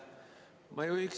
Aitäh!